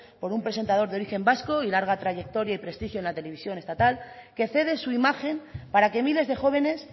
por un presentador de origen vasco y larga trayectoria y prestigio en la televisión estatal que cede su imagen para que miles de jóvenes